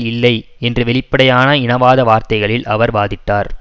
இல்லை என்று வெளிப்படையான இனவாத வார்த்தைகளில் அவர் வாதிட்டார்